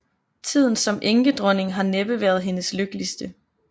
Tiden som enkedronning har næppe været hendes lykkeligste